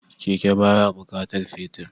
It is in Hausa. Keke baya bukatar fetir